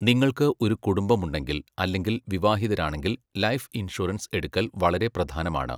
നിങ്ങൾക്ക് ഒരു കുടുംബമുണ്ടെങ്കിൽ അല്ലെങ്കിൽ വിവാഹിതരാണെങ്കിൽ ലൈഫ് ഇൻഷുറൻസ് എടുക്കൽ വളരെ പ്രധാനമാണ്.